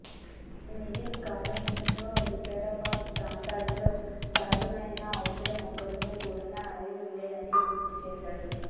నిజాం కాలంలో వికారాబాద్ ప్రాంతంలో సహజమైన ఔషధ మొక్కలతో కూడిన అడవి ఉండేదని గుర్తు చేశారు